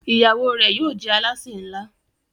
ìyàwó rẹ yóò jé Alásè nla